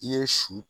I ye su